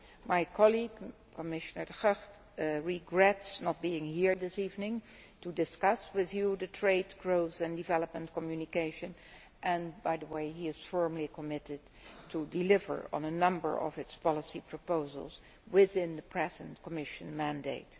My colleague Commissioner de Gucht regrets not being here this evening to discuss with you the trade, growth and development communication but he is firmly committed to deliver on a number of its policy proposals within the present Commission mandate.